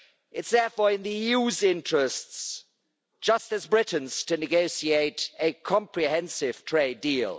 It's therefore in the EU's interests, just as Britain's, to negotiate a comprehensive trade deal.